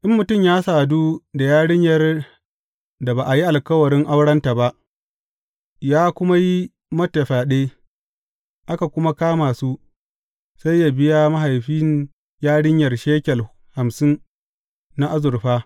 In mutum ya sadu da yarinyar da ba a yi alkawarin aurenta ba, ya kuma yi mata fyaɗe, aka kuma kama su, sai yă biya mahaifin yarinyar shekel hamsin na azurfa.